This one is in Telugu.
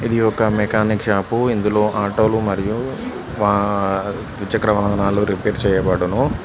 ఇది ఒక మెకానిక్ షాపు ఇందులో ఆటో లు మరియు ఆ ద్విచక్ర వాహనాలు రిపేర్ చేయబడును.